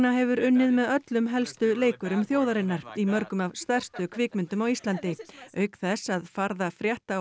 hefur unnið með öllum helstu leikurum þjóðarinnar í mörgum af stærstu kvikmyndum á Íslandi auk þess að farða frétta og